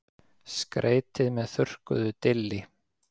Skreytið með þurrkuðu dilli.